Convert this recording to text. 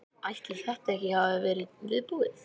Ætli þetta hafi ekki verið viðbúið.